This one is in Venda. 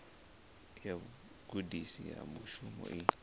ya vhugudisi ha mushumo i